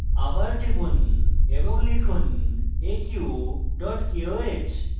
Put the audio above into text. আবার টিপুন এবং লিখুন aq koh